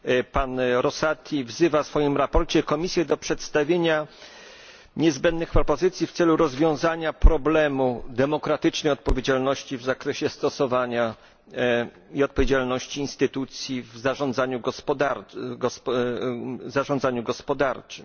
Pan Rosati wzywa w swoim sprawozdaniu Komisję do przedstawienia niezbędnych propozycji w celu rozwiązania problemu demokratycznej odpowiedzialności w zakresie stosowania i odpowiedzialności instytucji w zarządzaniu gospodarczym.